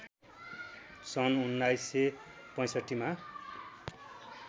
सन् १९६५ मा